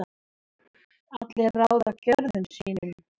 allir ráða gjörðum sín